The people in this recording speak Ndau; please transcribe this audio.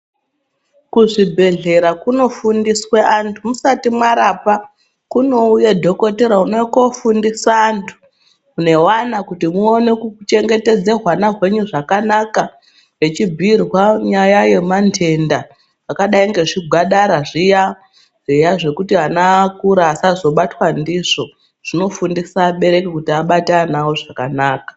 Kuzvibhehlera kunofundiswa antu musati mwarapwa kunouye dhokotera unouye kofundisa antu neana kuti muone kuchengetedza ana enyu zvakanaka techibhuyirwa nyaya yema ntenda akadai ngezvigwadara zviya zvekuti ana akura asazobatwa ndizvo. Zvinofundisa abereki kuti abate ana avo zvakanaka.